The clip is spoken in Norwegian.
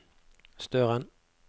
Støren